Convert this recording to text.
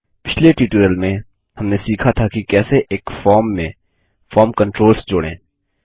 पिछले ट्यूटोरियल में हमने सीखा था कि कैसे एक फॉर्म में फॉर्म कंट्रोल्स जोड़ें